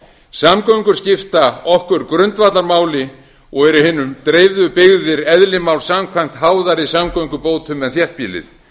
samgöngur skipta okkur grundvallarmáli og eru í hinum dreifðu byggðir eðli áls samkvæmt háðari samgöngubótum en þéttbýlið